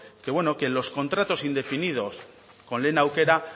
que en los contratos indefinidos con lehen aukera